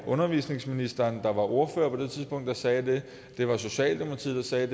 undervisningsminister der var ordfører på det tidspunkt der sagde det det var socialdemokratiet der sagde